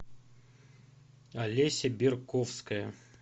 олеся берковская